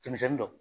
Cɛmisɛnnin dɔn